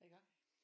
Iggå